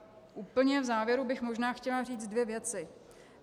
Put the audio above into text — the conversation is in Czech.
Úplně v závěru bych možná chtěla říct dvě věci.